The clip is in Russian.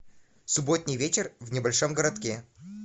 субботний вечер в небольшом городке